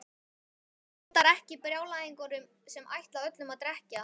Hann hótar ekki brjálæðingunum sem ætla öllum að drekkja.